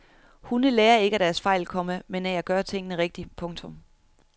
Hunde lærer ikke af deres fejl, komma men af at gøre tingene rigtigt. punktum